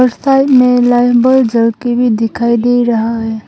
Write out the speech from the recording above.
Side मे lime bulb जल के भी दिखाई दे रहा है।